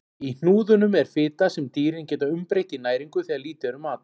Í hnúðunum er fita sem dýrin geta umbreytt í næringu þegar lítið er um mat.